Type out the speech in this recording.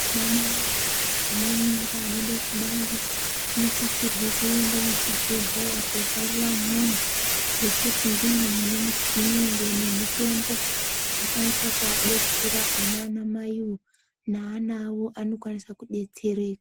Anamai ane mimba anode kubara anosisirwe kuende kuzvibhedhlera kobarira umwomwo ngekuti ndimwo mune michini ngemutombo inokwanisa kudetsera ona anamaiwo neana awo anokwanisa kudetsereka.